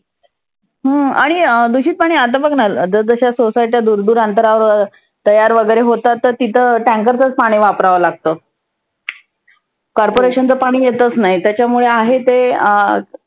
हा आणि दुषित पाणि आर्ध बघना जस जश्या society दुर दुर अंतरावर तयार वगैरे होतात. तर तिथं tanker चं पाणि वापराव लागतं. corporation च पाणि येतच नाही. त्याच्यामुळे आहे ते अं